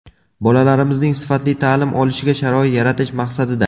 Bolalarimizning sifatli ta’lim olishiga sharoit yaratish maqsadida.